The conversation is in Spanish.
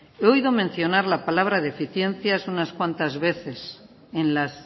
he oído mencionar la palabra deficiencias unas cuantas veces en las